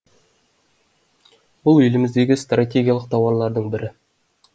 бұл еліміздегі стратегиялық тауарлардың бірі